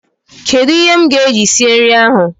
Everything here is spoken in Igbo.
Kedụ ihe m ga-eji sie nri ahụ?.